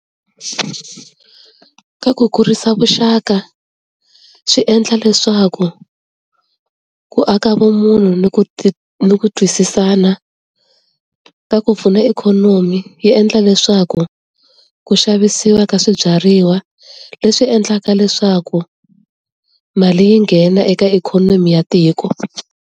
Ka ku kurisa vuxaka, swi endla leswaku ku aka vumunhu ni ku ni ku twisisana. Ka ku pfuna ikhonomi, yi endla leswaku ku xavisiwa ka swibyariwa leswi endlaka leswaku mali yi nghena eka ikhonomi ya tiko.